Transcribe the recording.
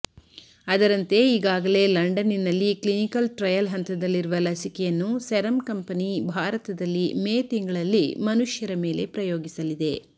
ಅದರಂತೆ ಈಗಾಗಲೇ ಲಂಡನ್ನಿನಲ್ಲಿ ಕ್ಲಿನಿಕಲ್ ಟ್ರಯಲ್ ಹಂತದಲ್ಲಿರುವ ಲಸಿಕೆಯನ್ನು ಸೆರಮ್ ಕಂಪನಿ ಭಾರತದಲ್ಲಿ ಮೇ ತಿಂಗಳಲ್ಲಿ ಮನುಷ್ಯರ ಮೇಲೆ ಪ್ರಯೋಗಿಸಲಿದೆ